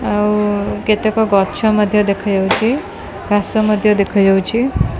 ଆଉ କେତେକ ଗଛ ମଧ୍ୟ ଦେଖା ଯାଉଛି ଆକାଶ ମଧ୍ୟ ଦେଖା ଯାଉଛି।